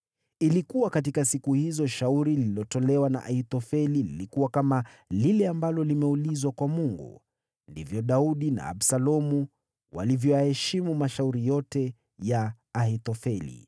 Ilikuwa katika siku hizo shauri lililotolewa na Ahithofeli lilikuwa kama lile ambalo limeulizwa kwa Mungu. Ndivyo Daudi na Absalomu walivyoyaheshimu mashauri yote ya Ahithofeli.